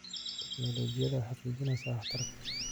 Tiknoolajiyadu waxay hagaajinaysaa waxtarka.